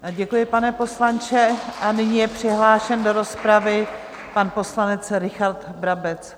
Děkuji, pane poslanče, a nyní je přihlášen do rozpravy pan poslanec Richard Brabec.